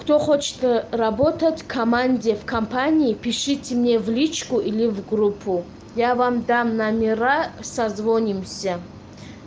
кто хочет работать в команде в компании пишите мне в личку или в группу я вам дам номера созвонимся